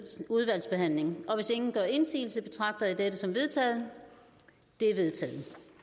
udvalgsbehandling og hvis ingen gør indsigelse betragter jeg det som vedtaget det er vedtaget